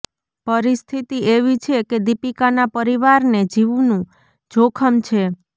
પરિસ્થિતિ એવી છે કે દીપિકાના પરિવારને જીવનું જોખમ છે